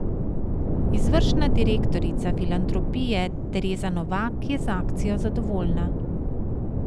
Izvršna direktorica filantropije Tereza Novak je z akcijo zadovoljna.